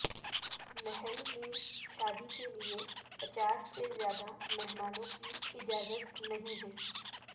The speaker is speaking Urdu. محل میں شادی کے لیے پچاس سے زیادہ مہمانوں کی اجازت نہیں ہے